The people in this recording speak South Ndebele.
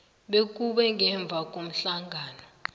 bekube ngemva komhlangano